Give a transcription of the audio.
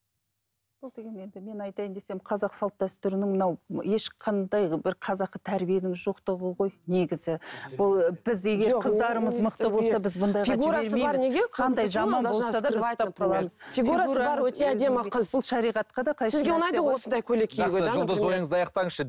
мен айтайын десем қазақ салт дәстүрінің мынау ешқандай бір қазақы тәрбиенің жоқтығы ғой негізі бұл біз егер қыздарымыз мықты болса